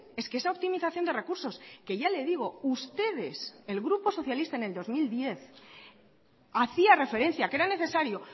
es que esa optimización de recursos que ya le digo ustedes el grupo socialista en el dos mil diez hacía referencia que era necesario